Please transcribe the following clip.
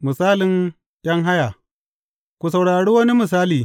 Misalin ’yan haya Ku saurari wani misali.